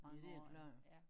Ja det klart